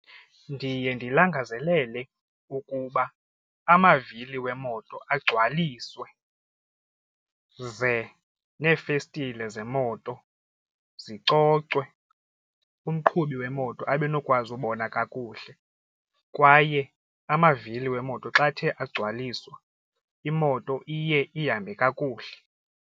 Ndiye ndililangazelele ukuba amavili wemoto agcwaliswe ze neefestile zemoto zicocwe umqhubi wemoto abenokwazi ubona kakuhle kwaye amavili wemoto xa athe agcwaliswa imoto iye ihambe kakuhle.